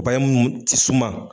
Bayɛmu t'i suma.